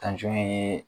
ye